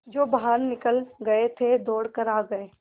जो बाहर निकल गये थे दौड़ कर आ गये